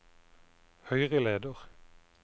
høyreleder